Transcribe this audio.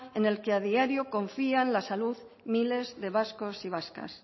en el que a diario confían la salud miles de vascos y vascas